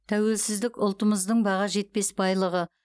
тәуелсіздік ұлтымыздың баға жетпес байлығы